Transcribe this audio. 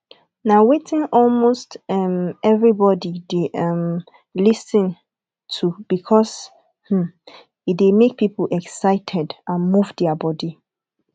na wetin almost um everybody de um lis ten to because um e de make pipo excited and move their body